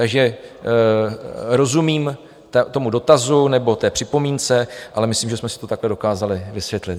Takže rozumím tomu dotazu nebo té připomínce, ale myslím, že jsme si to takhle dokázali vysvětlit.